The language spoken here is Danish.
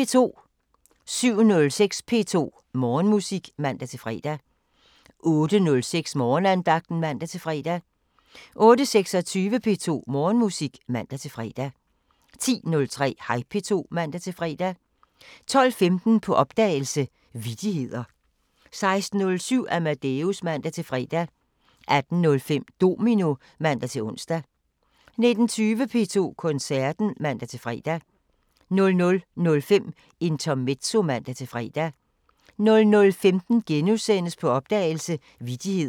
07:06: P2 Morgenmusik (man-fre) 08:06: Morgenandagten (man-fre) 08:26: P2 Morgenmusik (man-fre) 10:03: Hej P2 (man-fre) 12:15: På opdagelse – Vittigheder 16:07: Amadeus (man-fre) 18:05: Domino (man-ons) 19:20: P2 Koncerten (man-fre) 00:05: Intermezzo (man-fre) 00:15: På opdagelse – Vittigheder *